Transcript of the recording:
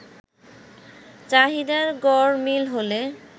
চাহিদার গড়মিল হলে